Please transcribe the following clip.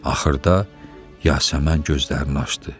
Axırda Yasəmən gözlərini açdı.